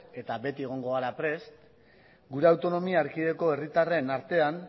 eta beti egongo gara prest gure autonomia erkidegoko herritarren artean